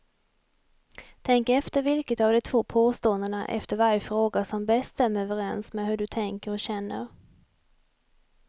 Tänk efter vilket av de två påståendena efter varje fråga som bäst stämmer överens med hur du tänker och känner.